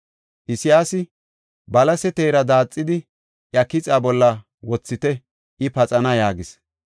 Isayaasi, “Balase teera daaxidi, iya kixa bolla wothite; I paxana” yaagis.